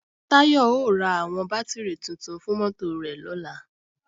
Táyọ̀ ó ra àwọn bátìrì tuntun fún mọ́tò rẹ̀ lọ́la